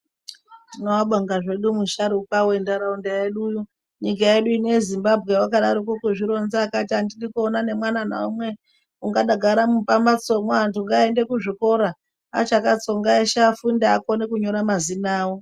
Tinoabonga hedu musharuka wentharaunda yedu. Nyika yedu ino yeZimbabwe wakadaroko kuzvironza akati andidi kuona nemwana naumwe akadagara mumambatsomwo anthu ngaaende kuzvikora achakatsonga eshe afunde akone kunyora mazina awo.